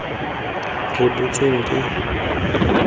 rebotsweng ke bothati jo bo